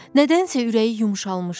Nədənsə ürəyi yumşalmışdı.